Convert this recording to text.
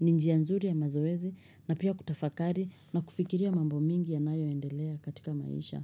ni njia nzuri ya mazoezi na pia kutafakari na kufikiria mambo mingi yanayoendelea katika maisha.